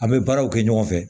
An bɛ baaraw kɛ ɲɔgɔn fɛ